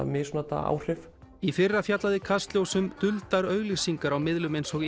misnota áhrif í fyrra fjallaði Kastljós um duldar auglýsingar á miðlum eins og